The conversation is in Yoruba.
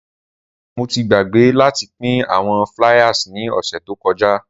Rara, Mo ti gbagbe lati pin awọn fliers ni ọsẹ to kọja.